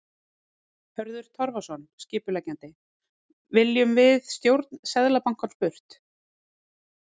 Hörður Torfason, skipuleggjandi: Viljum við stjórn Seðlabankans burt?